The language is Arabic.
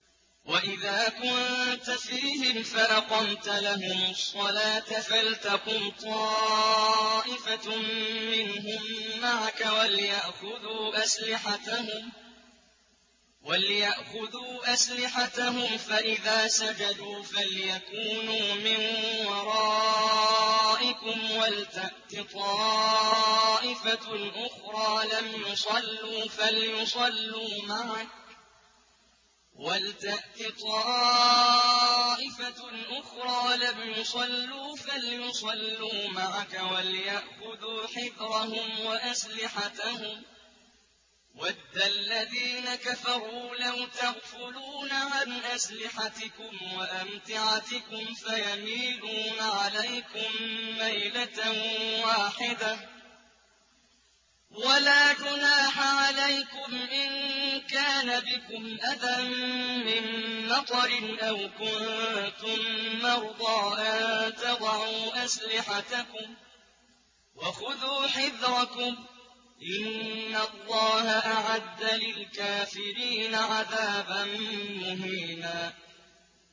وَإِذَا كُنتَ فِيهِمْ فَأَقَمْتَ لَهُمُ الصَّلَاةَ فَلْتَقُمْ طَائِفَةٌ مِّنْهُم مَّعَكَ وَلْيَأْخُذُوا أَسْلِحَتَهُمْ فَإِذَا سَجَدُوا فَلْيَكُونُوا مِن وَرَائِكُمْ وَلْتَأْتِ طَائِفَةٌ أُخْرَىٰ لَمْ يُصَلُّوا فَلْيُصَلُّوا مَعَكَ وَلْيَأْخُذُوا حِذْرَهُمْ وَأَسْلِحَتَهُمْ ۗ وَدَّ الَّذِينَ كَفَرُوا لَوْ تَغْفُلُونَ عَنْ أَسْلِحَتِكُمْ وَأَمْتِعَتِكُمْ فَيَمِيلُونَ عَلَيْكُم مَّيْلَةً وَاحِدَةً ۚ وَلَا جُنَاحَ عَلَيْكُمْ إِن كَانَ بِكُمْ أَذًى مِّن مَّطَرٍ أَوْ كُنتُم مَّرْضَىٰ أَن تَضَعُوا أَسْلِحَتَكُمْ ۖ وَخُذُوا حِذْرَكُمْ ۗ إِنَّ اللَّهَ أَعَدَّ لِلْكَافِرِينَ عَذَابًا مُّهِينًا